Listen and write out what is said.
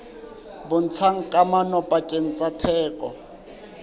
bontshang kamano pakeng tsa theko